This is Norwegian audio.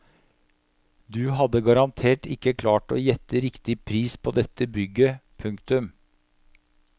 Du hadde garantert ikke klart å gjette riktig pris på dette bygget. punktum